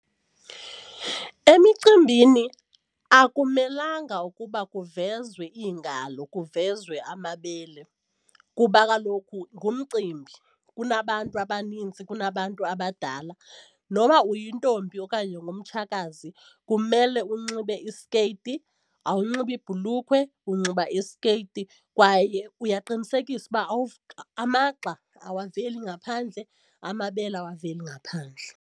Emicimbini akumelanga ukuba kuvezwe iingalo kuvezwa amabele kuba kaloku ngumcimbi kunabantu abaninzi kunabantu abadala, noba kuba uyintombi okanye ungutshakazi kumele unxibe iskeyiti, awanxibi ibhulukhwe unxiba iskeyiti kwaye uyaqinisekisa uba amagxa awaveli ngaphandle, amabele awaveli ngaphandle.